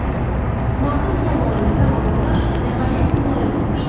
Martın sonlarında havalar nəhayət mülayimləşdi.